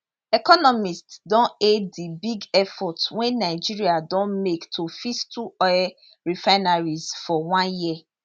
economists don hail di big effort wey nigeria don make to fix two oil refineries for one year